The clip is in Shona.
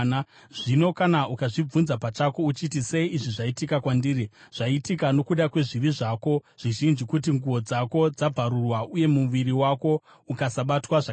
Zvino kana ukazvibvunza pachako, uchiti: “Sei izvi zvaitika kwandiri?” zvaitika nokuda kwezvivi zvako zvizhinji, kuti nguo dzako dzabvarurwa, uye muviri wako ukasabatwa zvakanaka.